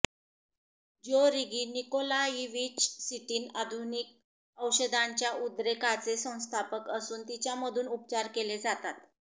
Georgy Nikolaevich Sitin आधुनिक औषधांच्या उद्रेकाचे संस्थापक असून तिच्यामधून उपचार केले जातात